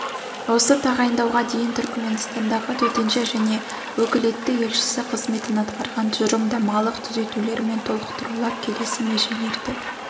осы тағайындауға дейін түркіменстандағы төтенше және өкілетті елшісі қызметін атқарған тұжырымдамалық түзетулер мен толықтырулар келесі межелерді